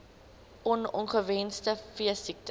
on ongewenste veesiektes